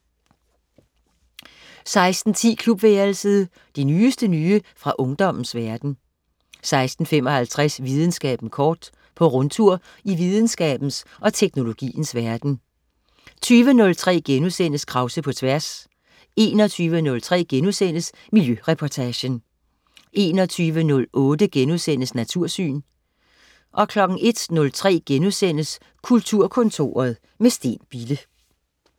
16.10 Klubværelset. Det nyeste nye fra ungdommens verden 16.55 Videnskaben kort. På rundtur i videnskabens og teknologiens verden 20.03 Krause på Tværs* 21.03 Miljøreportagen* 21.08 Natursyn* 01.03 Kulturkontoret, med Steen Bille*